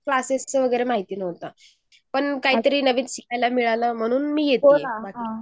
Classes च वगैरे माहिती नव्हतं. पण काहीतरी नवीन शिकायला मिळतंयम्हुणुन मी येति आहे